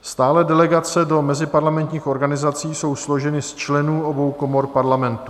Stálé delegace do meziparlamentních organizací jsou složeny z členů obou komor Parlamentu.